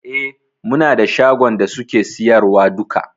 E, muna da shagon da suke siyarwa duka.